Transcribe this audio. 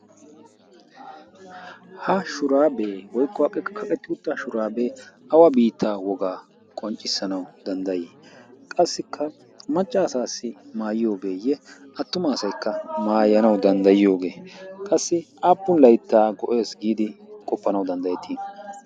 ha shuraabee woiqquw aaqeka kaqetti utta shuraabee awa biittaa wogaa qonccissanau danddayii qassikka maccaasaassi maayiyoogeeyye attumaasaikka maayanau danddayiyoogee qassi aappun laittaa go'ees giidi qoppanau danddayetii?